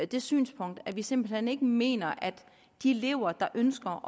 det synspunkt at vi simpelt hen ikke mener at de elever der ønsker